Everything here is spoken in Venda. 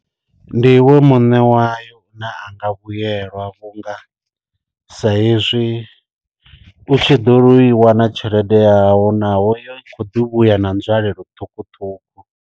Ndi iwe muṋe wayo na anga vhuyelwa vhunga sa izwi u tshi ḓo i wana tshelede yaho naho yo kho ḓi vhuya na nzwalelo ṱhukhuṱhukhu.